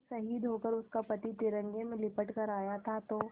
जब शहीद होकर उसका पति तिरंगे में लिपट कर आया था तो